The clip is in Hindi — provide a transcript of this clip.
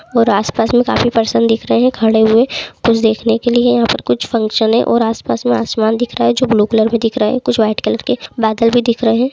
और आसपास में काफी पर्सन दिख रहे है खड़े हुए कुछ देखने के लिए यहाँ पर कुछ फक्शन -ए और आसपास में आसमान दिख रहा है जो ब्लू कलर में दिख रहा है कुछ व्हाइट कलर के बादल भी दिख रहे है।